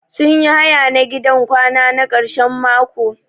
Sun yi haya na gidan kwana na karshen mako.